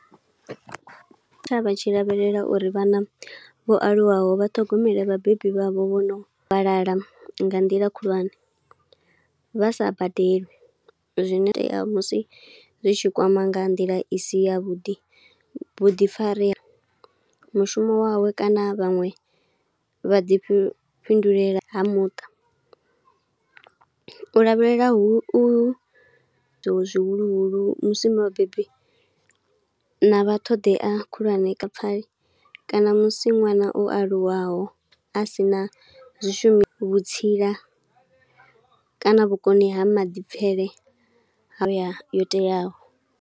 Tshavha tshi lavhelela uri vhana vho aluwaho vhaṱhogomele vhabebi vha vho vhono fhalala nga nḓila khulwane, vha sa badeli. Zwino itea musi zwi tshi kwama nga nḓila i si ya vhuḓi, vhuḓifari mushumo wawe kana vhaṅwe vha ḓifhifhindulela ha muṱa. U lavhelela hu u zwihuluhulu musi vhabebi na vha ṱhoḓea khulwane kana musi nwana u aluwaho a sina zwishu, vhutsila kana vhukoni ha maḓipfele u ya yo teaho.